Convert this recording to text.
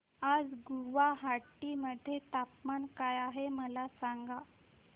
आज गुवाहाटी मध्ये तापमान काय आहे मला सांगा